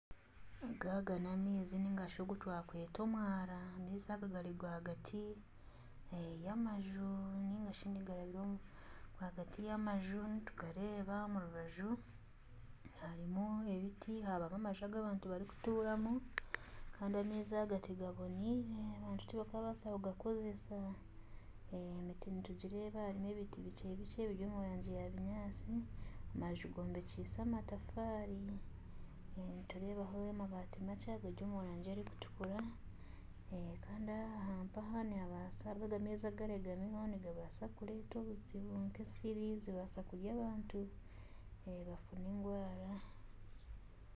Aga n'amaizi narishi omwaara amaizi aga gari rwagati y'amaju ningashi nigarabira omu rwagati y'amaju omu rubaju harimu ebiti harimu n'amaju agu abantu barikutuuramu Kandi amaizi aga tigaboneire abantu tibakaabaasa kugakozesa emiti nitugireeba harimu ebiti bikye bikye eri omu rangi ya kinyaatsi amaju gombekiise amatafaari nitureebaho amabaati makye agari omu rangi erikutukura kandi aha aharibo amaizi agateerami nibabaasa kureeta obuzubu nk'esiri zibaasa kurya abantu bafuna endwara